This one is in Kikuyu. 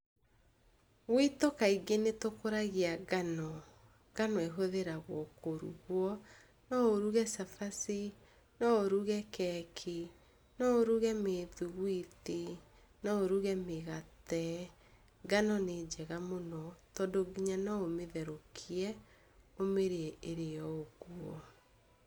Gwitũ kaingĩ nĩtũkũragia ngano. Ngano ĩhũthagĩrwo kũrugwo, no ũruge cabaci, no ũruge keki, no ũruge mĩthugwiti, no ũruge mĩgate. Ngano nĩ njega mũno, tondũ nginya noũmĩtherũkie ũmĩrĩe ĩrĩ o ũguo.